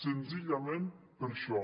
senzillament per això